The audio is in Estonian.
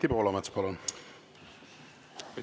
Anti Poolamets, palun!